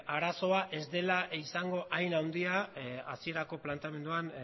arazoa ez dela izango hain handia hasierako planteamenduan